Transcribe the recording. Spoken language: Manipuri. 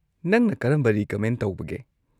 ꯅꯪꯅ ꯀꯔꯝꯕ ꯔꯤꯀꯃꯦꯟ ꯇꯧꯕꯒꯦ?